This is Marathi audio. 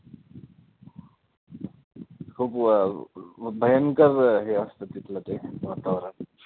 खूप व अं भयंकर हे असतं तिथले ते वातावरण